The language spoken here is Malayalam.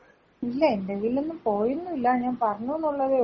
ഇല്ലയ് എന്റെ കയ്യില് പോയെന്നും ഇല്ല ഞാൻ പറഞ്ഞൂന്നൊള്ളതേ ഉള്ളു.